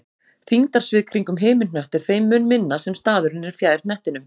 Þyngdarsvið kringum himinhnött er þeim mun minna sem staðurinn er fjær hnettinum.